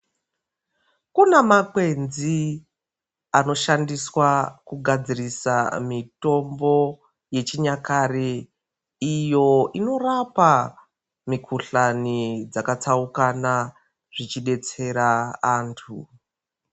Kuna makwenzi ano shandiswa ku gadzirisa mitombo yechi nyakare iyo inorapa mi kuhlani dzaka tsaukana zvichi detsera antu.